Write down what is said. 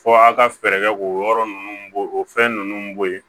Fɔ a ka fɛɛrɛ kɛ k'o yɔrɔ ninnu bo o fɛn ninnu bo yen